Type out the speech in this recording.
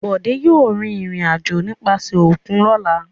Bọ̀dé yóò rìnrìn-àjò nípasẹ̀ òkun lọ́la.